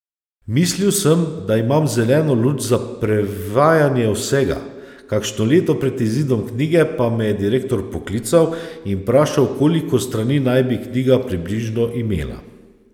Mislil sem, da imam zeleno luč za prevajanje vsega, kakšno leto pred izidom knjige pa me je direktor poklical in vprašal, koliko strani naj bi knjiga približno imela.